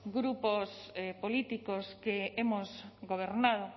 grupos políticos que hemos gobernado